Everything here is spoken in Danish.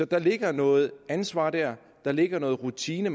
der ligger noget ansvar der der ligger noget rutine